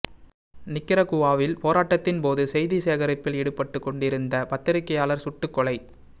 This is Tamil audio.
நிக்கரகுவாவில் போராட்டத்தின் போது செய்தி சேகரிப்பில் ஈடுபட்டு கொண்டு இருந்த பத்திரிகையாளர் சுட்டுக் கொலை